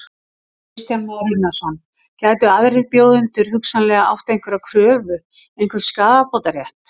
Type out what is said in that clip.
Kristján Már Unnarsson: Gætu aðrir bjóðendur hugsanlega átt einhverja kröfu, einhvern skaðabótarétt?